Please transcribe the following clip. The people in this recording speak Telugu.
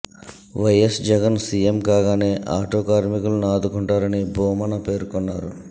వైఎస్ జగన్ సీఎం కాగానే ఆటో కార్మికులను ఆదుకుంటారని భూమన పేర్కొన్నారు